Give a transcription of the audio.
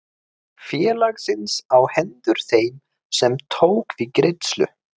félagsins á hendur þeim sem tók við greiðslu.